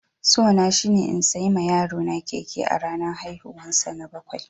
So na shine in sayi ma yaro na keke a ranan haihuwan sa na bakwai.